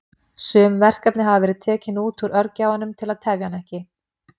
Sum verkefni hafa verið tekin út úr örgjörvanum til að tefja hann ekki.